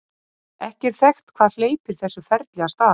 Ekki er þekkt hvað hleypir þessu ferli af stað.